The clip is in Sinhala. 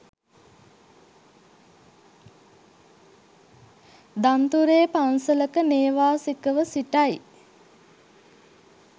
දන්තුරේ පන්සලක නේවාසිකව සිටයි.